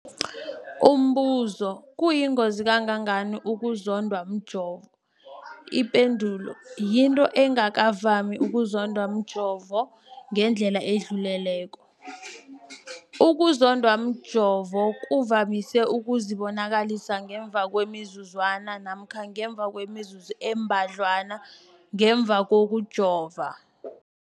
Umbuzo, kuyingozi kangangani ukuzondwa mjovo? Ipendulo, yinto engakavami ukuzondwa mjovo ngendlela edluleleko. Ukuzondwa mjovo kuvamise ukuzibonakalisa ngemva kwemizuzwana namkha ngemva kwemizuzu embadlwana ngemva kokujova.